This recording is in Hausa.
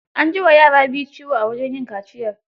An ji wa yara biyu ciwo a wajen yin kaciyar.